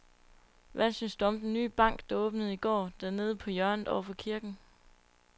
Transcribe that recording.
Hvad synes du om den nye bank, der åbnede i går dernede på hjørnet over for kirken?